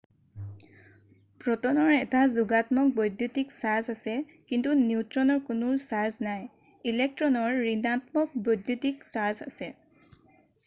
প্ৰট'নৰ এটা যোগাত্মক বৈদ্যুতিক চাৰ্জ আছে কিন্তু নিউট্ৰনৰ কোনো চাৰ্জ নাই ইলেক্ট্ৰনৰ ঋণাত্মক বৈদ্যুতিক চাৰ্জ আছে